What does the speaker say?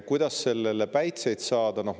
Kuidas sellele päitseid pähe saada?